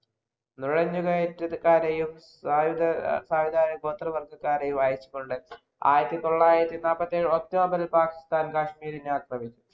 നുഴഞ്ഞുകയറ്റക്കാരെയും, സായുധ സായുധരായ ഗോത്രവർഗക്കാരെയും അയച്ചുകൊണ്ട് ആയിരത്തിതൊള്ളായിരത്തി നാല്പത്തിയേഴിൽ october ഇല്‍ പാകിസ്ഥാൻ കാശ്മീരിനെ ആക്രമിച്ചു.